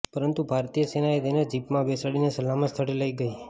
પરંતુ ભારતીય સેનાએ તેને જીપમાં બેસાડીને સલામત સ્થળે લઈ ગઈ